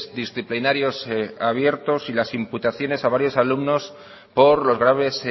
disciplinarios abiertos y las imputaciones a varios alumnos por los graves